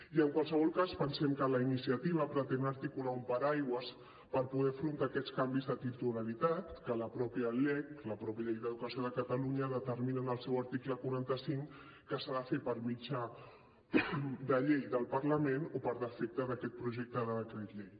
i en qualsevol cas pensem que la iniciativa pretén articular un paraigua per poder afrontar aquests canvis de titularitat que la mateixa lec la mateixa llei d’educació de catalunya determina en el seu article quaranta cinc que s’ha de fer per mitjà de llei del parlament o per defecte d’aquest projecte de decret llei